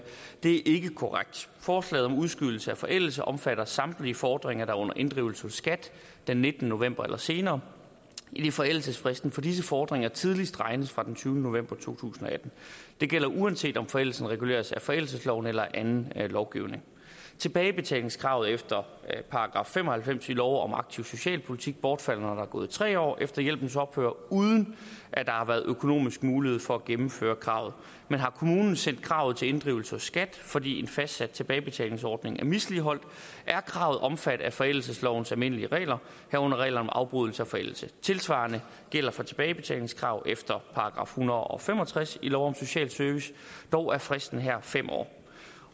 det ikke er korrekt forslaget om udskydelse af forældelse omfatter samtlige fordringer der er under inddrivelse hos skat den nittende november eller senere idet forældelsesfristen for disse fordringer tidligst regnes fra den tyvende november to tusind og atten det gælder uanset om forældelsen reguleres af forældelsesloven eller anden lovgivning tilbagebetalingskravet efter § fem og halvfems i lov om aktiv socialpolitik bortfalder når der er gået tre år efter hjælpens ophør uden at der har været økonomisk mulighed for at gennemføre kravet men har kommunen sendt kravet til inddrivelse hos skat fordi en fastsat tilbagebetalingsordning er misligholdt er kravet omfattet af forældelseslovens almindelige regler herunder regler om afbrydelse af forældelse tilsvarende gælder for tilbagebetalingskrav efter § en hundrede og fem og tres i lov om social service dog er fristen her fem år